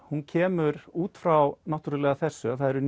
hún kemur út frá þessu að það eru